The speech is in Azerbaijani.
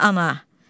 Eyh ana.